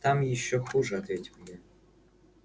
там ещё хуже ответил я